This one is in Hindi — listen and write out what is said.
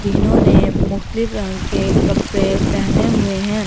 तीनो ने रंग के कपडे पहने हुए हैं ।